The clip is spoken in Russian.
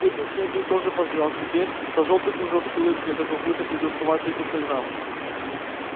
петя с ней вдруг тоже позволял себе то жёлтый кружок с улыбкой то какую-то придурковатую пиктограмму